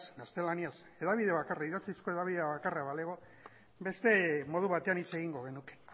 gaztelaniaz idatzizko hedabide bakarra balego beste modu batean hitz egingo genuke